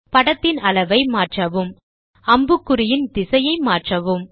படத்தின் அளவை மாற்றவும் அம்புக்குறியின் திசையை மாற்றவும்